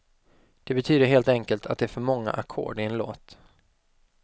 Det betyder helt enkelt att det är för många ackord i en låt.